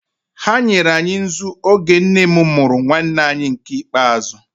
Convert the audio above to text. Ha nyere anyị nzu oge nne m mụrụ nwanne anyị nke ikpeazụ.